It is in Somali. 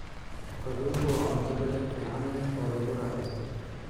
Kalluunku waa cunto dhadhan fiican leh oo lagu raaxaysto.